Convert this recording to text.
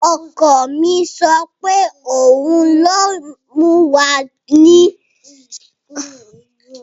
Ọkọ mi sọ pé òun yíó mú wa lọ sí ilé óúnjẹ tó dára jùlọ ní Texas.